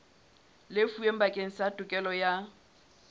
lefuweng bakeng sa tokelo ya